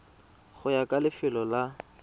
go ya ka lefelo la